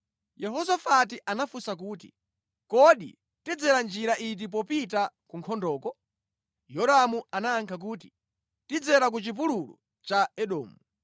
Yehosafati anafunsa kuti, “Kodi tidzera njira iti popita ku nkhondoko?” Yoramu anayankha kuti, “Tidzera ku Chipululu cha Edomu.”